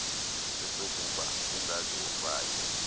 sesokuba ungaze ufake